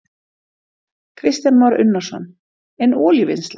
Kristján Már Unnarsson: En olíuvinnsla?